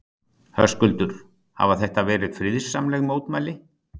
Höskuldur, hafa þetta verið friðsamleg mótmæli?